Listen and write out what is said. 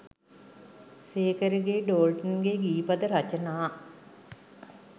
සේකරගෙයි ඩෝල්ටන්ගෙයි ගී පද රචනා